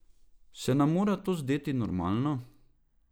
Se nam mora to zdeti normalno?